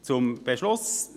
Zum Beschluss: